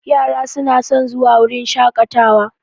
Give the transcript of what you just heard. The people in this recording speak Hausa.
Yara su na son zuwa wurin shaƙatawa